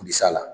Bilisi a la